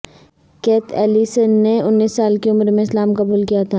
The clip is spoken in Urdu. کیتھ ایلیسن نے انیس سال کی عمر میں اسلام قبول کیا تھا